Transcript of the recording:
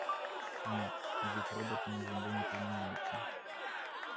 нет ведь роботы на земле не применяются